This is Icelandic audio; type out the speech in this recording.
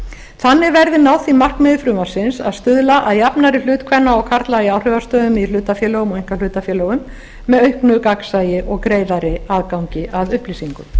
þannig verði náð því markmiði frumvarpsins að stuðla að jafnari hlut kvenna og karla í áhrifastöðum í hlutafélögum og einkahlutafélögum með auknu gagnsæi og greiðari aðgangi að upplýsingum